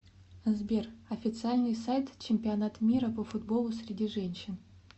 сбер официальный сайт чемпионат мира по футболу среди женщин